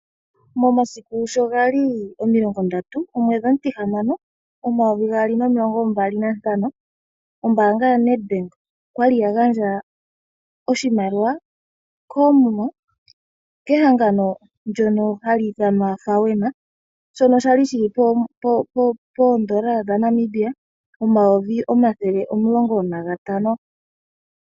Momasiku sho gali 30/06/2025 ombaanga yoNedbank okwali ya gandja oshimaliwa koomuma kehangano lyoForum shono shali poondola dhaNamibia omayovi omayovi omulongo nagatano.